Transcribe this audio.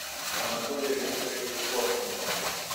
анатолия викторовича коршунова